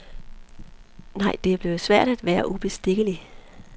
Nej, det er blevet svært at være ubestikkelig.